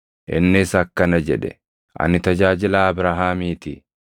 Innis akkana jedhe; “Ani tajaajilaa Abrahaamii ti.